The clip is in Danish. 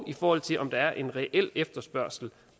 i forhold til om der er en reel efterspørgsel